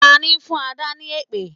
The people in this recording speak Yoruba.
Tani ń fún Adà ni èpè?